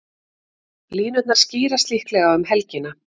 Línurnar skýrast líklega um helgina.